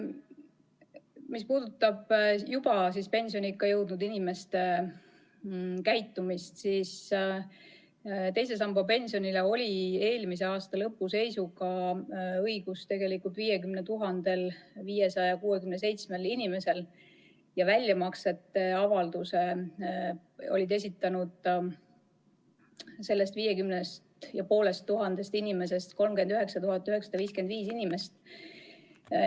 Mis puudutab juba pensioniikka jõudnud inimeste käitumist, siis II samba pensionile oli eelmise aasta lõpu seisuga õigus 50 567 inimesel ja väljamaksete avalduse oli sellest viiekümnest ja poolest tuhandest inimesest esitanud 39 955 inimest.